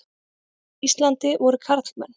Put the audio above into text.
Íslandi voru karlmenn.